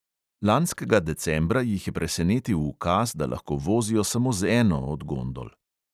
Lanskega decembra jih je presenetil ukaz, da lahko vozijo samo z eno od gondol.